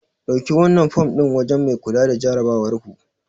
Dauki wannan fom din wajen mai kula da jarabawarku.